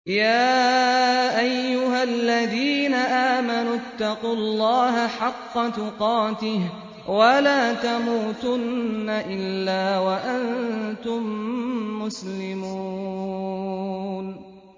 يَا أَيُّهَا الَّذِينَ آمَنُوا اتَّقُوا اللَّهَ حَقَّ تُقَاتِهِ وَلَا تَمُوتُنَّ إِلَّا وَأَنتُم مُّسْلِمُونَ